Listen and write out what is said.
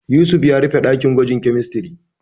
Yusuf ya rufe ɗakin gwajin kemistiri.